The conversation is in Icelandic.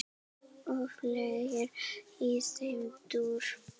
og fleira í þeim dúr.